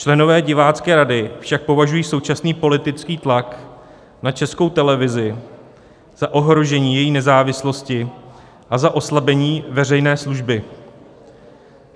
Členové Divácké rady však považují současný politický tlak na Českou televizi za ohrožení její nezávislosti a za oslabení veřejné služby.